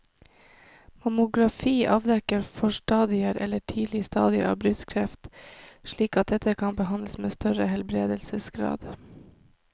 Mammografi avdekker forstadier eller tidlige stadier av brystkreft slik at dette kan behandles med større helbredelsesgrad.